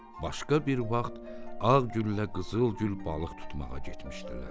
Başqa bir vaxt Ağgüllə Qızıl Gül balıq tutmağa getmişdilər.